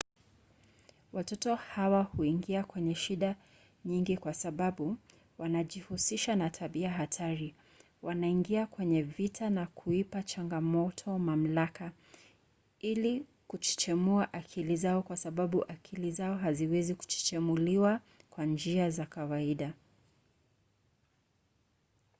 watoto hawa huingia kwenye shida nyingi kwa sababu wanajihusisha na tabia hatari wanaingia kwenye vita na kuipa changamoto mamlaka” ili kuchechemua akili zao kwa sababu akili zao haziwezi kuchechemuliwa kwa njia za kawaida